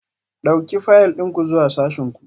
Ɗauki fayil ɗin ku zuwa sashin ku